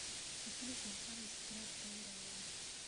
Hakiri ciakwa rĩu citiraruta wĩra wega.